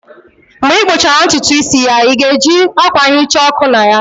Mgbe ị kpụchara ntutu isi ya, ị ga-eji akwa nhicha ọkụ na ya?